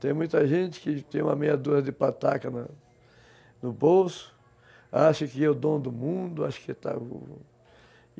Tem muita gente que tem uma meia de pataca no bolso, acha que é o dom do mundo.